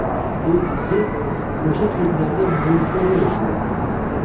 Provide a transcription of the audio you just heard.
Bu bizga o‘sha kezlarda mo‘jizaday ko‘ringandi.